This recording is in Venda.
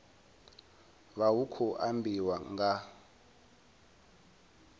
vha hu khou ambiwa nga